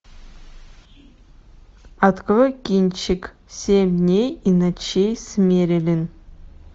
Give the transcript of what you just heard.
открой кинчик семь дней и ночей с мерелин